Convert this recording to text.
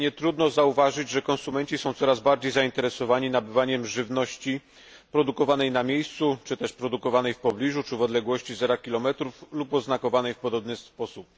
Nietrudno zauważyć, że konsumenci są coraz bardziej zainteresowani nabywaniem żywności produkowanej na miejscu czy też produkowanej w pobliżu, czy w odległości zera kilometrów, lub oznakowanych w podobny sposób.